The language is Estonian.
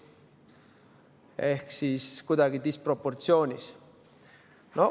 Ehk siis kuidagi disproportsioonis.